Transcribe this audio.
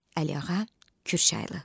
Əliağa Kürçaylı.